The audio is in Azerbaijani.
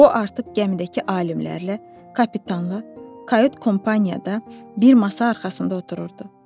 O artıq gəmidəki alimlərlə, kapitanla, kayut kompaniyada bir masa arxasında otururdu.